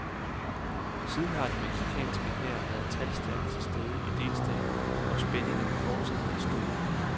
Siden har den mexicanske hær været talstærkt til stede i delstaten, hvor spændingerne fortsat er store.